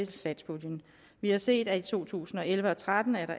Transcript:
satspuljen vi har set at der i to tusind og elleve og tretten